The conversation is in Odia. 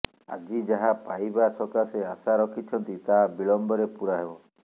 ଆଜି ଯାହା ପାଇବା ସକାଶେ ଆଶା ରଖିଛନ୍ତି ତାହା ବିଳମ୍ବରେ ପୁରା ହେବ